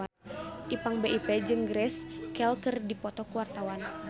Ipank BIP jeung Grace Kelly keur dipoto ku wartawan